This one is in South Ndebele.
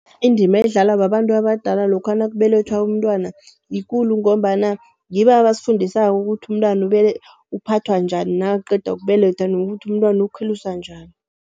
Indima edlalwa babantu abadala lokha nakubelethwa umntwana yikulu ngombana ngibo abasifundisako ukuthi, umntwana uphathwa njani nakaqeda ukubelethwa nokuthi umntwana ukhuliswa njani.